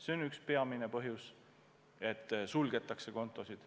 See on üks peamine põhjus, et suletakse kontosid.